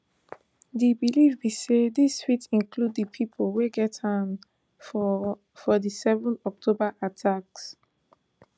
di believe be say dis fit include di pipo wey get hand for for di seven october attacks